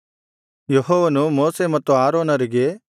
ಯೆಹೋವನು ಮೋಶೆ ಮತ್ತು ಆರೋನರಿಗೆ